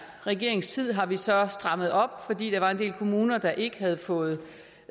regerings tid har vi så strammet op fordi der var en del kommuner der ikke havde fået